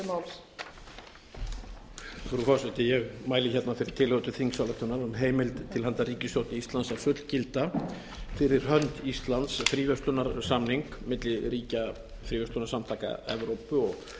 frú forseti ég mæli hérna fyrir tillögu til þingsályktunar um heimild til handa ríkisstjórn íslands að fullgilda fyrir hönd íslands fríverslunarsamning milli ríkja fríverslunarsamtaka evrópu og